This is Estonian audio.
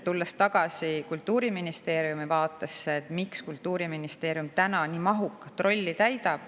Tulen tagasi Kultuuriministeeriumi vaatesse, miks Kultuuriministeerium nii mahukat rolli täidab.